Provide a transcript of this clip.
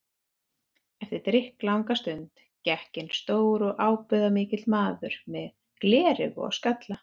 Eftir drykklanga stund gekk inn stór og ábúðarmikill maður með gleraugu og skalla.